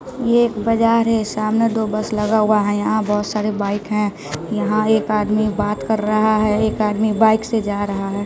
यह एक बाजार है सामने दो बस लगा हुआ है यहां बहोत सारे बाइक हैं यहां एक आदमी बात कर रहा है एक आदमी बाइक से जा रहा है।